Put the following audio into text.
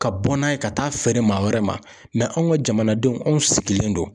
Ka bɔ n'a ye ka taa feere maa wɛrɛ ma anw ka jamanadenw anw sigilen don.